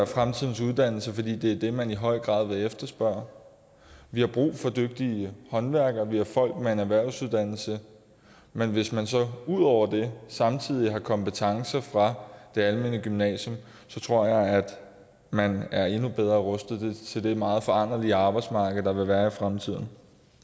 fremtidens uddannelse fordi det er det man i høj grad vil efterspørge vi har brug for dygtige håndværkere via folk med en erhvervsuddannelse men hvis man så ud over det samtidig har kompetencer fra det almene gymnasium tror jeg at man er endnu bedre rustet til det meget foranderlige arbejdsmarked der vil være i fremtiden